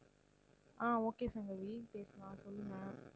ஆஹ் okay Sangavi பேசலாம் சொல்லுங்க.